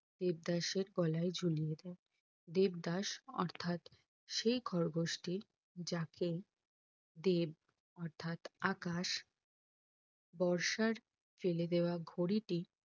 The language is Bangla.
দেবদাস এর গলায় ঘুলিয়ে দেয় দেবদাস অর্থাৎ সেই খরগোশটি যাকে দেব অর্থাৎ আকাশ বর্ষার ফেলেদেওয়া ঘড়িটি